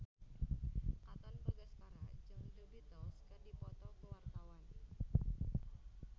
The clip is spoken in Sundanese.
Katon Bagaskara jeung The Beatles keur dipoto ku wartawan